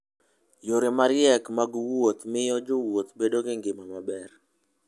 Yore mariek mag wuoth miyo jowuoth bedo gi ngima maber.